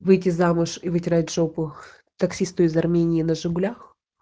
выйти замуж и вытирать жопу таксисту из армении на жигулях